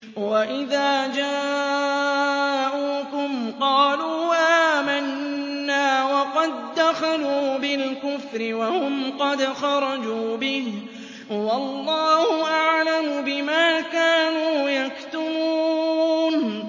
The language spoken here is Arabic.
وَإِذَا جَاءُوكُمْ قَالُوا آمَنَّا وَقَد دَّخَلُوا بِالْكُفْرِ وَهُمْ قَدْ خَرَجُوا بِهِ ۚ وَاللَّهُ أَعْلَمُ بِمَا كَانُوا يَكْتُمُونَ